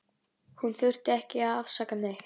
Hún þurfti ekki að afsaka neitt.